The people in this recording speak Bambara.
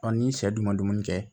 ni sɛ dun ma dumuni kɛ